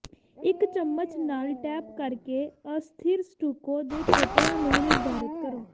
ਇੱਕ ਚਮਚ ਨਾਲ ਟੈਪ ਕਰਕੇ ਅਸਥਿਰ ਸਟੂਕੋ ਦੇ ਖੇਤਰਾਂ ਨੂੰ ਨਿਰਧਾਰਤ ਕਰੋ